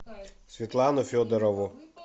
светлану федорову